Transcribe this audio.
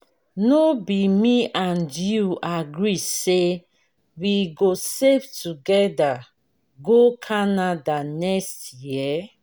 no be me and you agree say we go save together go canada next year?